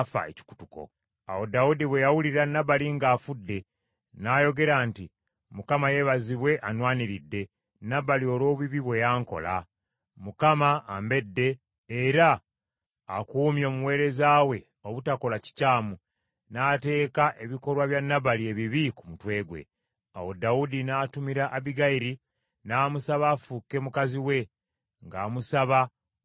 Awo Dawudi bwe yawulira Nabali ng’afudde, n’ayogera nti, “ Mukama yeebazibwe anwaniridde, Nabali olw’obubi bwe yankola. Mukama ambedde, era akuumye omuweereza we obutakola kikyamu, n’ateeka ebikolwa bya Nabali ebibi ku mutwe ggwe.” Awo Dawudi n’atumira Abbigayiri, n’amusaba afuuke mukazi we ng’amusaba okumuwasa.